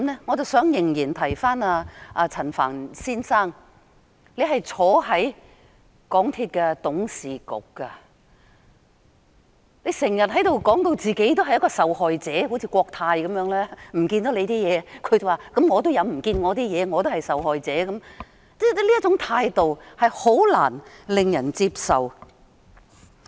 我仍然想提醒陳帆先生，他是港鐵公司董事局成員，經常把自己說成是一個受害者，好像國泰航空有限公司般，遺失了乘客的東西，就說自己也有東西不見了，也是受害者，這種態度是難以令人接受的。